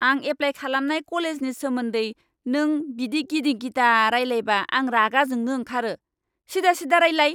आं एप्लाय खालामनाय कलेजनि सोमोन्दै नों बिदि गिदिं गिदा रायलायबा आं रागा जोंनो ओंखारो। सिदा सिदा रायलाय।